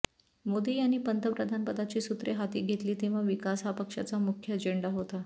मोदी यांनी पंतप्रधानपदाची सूत्रे हाती घेतली तेव्हा विकास हा पक्षाचा मुख्य अजेंडा होता